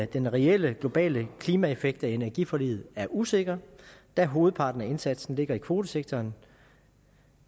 den reelle globale klimaeffekt af energiforliget er usikker da hovedparten af indsatsen ligger i kvotesektoren